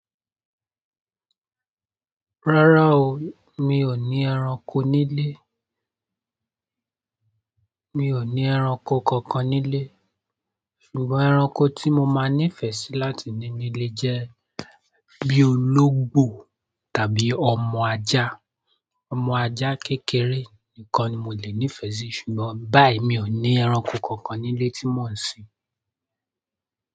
Rárá o, mi ò ní ẹranko nílé. Mi ò ní ẹranko kankan nílé. Ṣùgbọ́n ẹranko tí mo máa nifẹ sí láti ní nílé jẹ bí oloungbo tàbí ọmọ ajá, ọmọ ajá kékeré nìkan ni mo lè nifẹ sí ṣùgbọ́n báyi mi ò ní ẹranko kankan nílé rí mo ń sin.